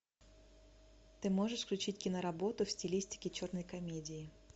ты можешь включить киноработу в стилистике черной комедии